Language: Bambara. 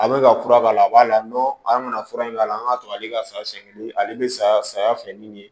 A bɛ ka fura k'a la a b'a la an bɛna fura in k'a la an k'a to ale ka sasi kelen ale bɛ saya saya fɛ ni ye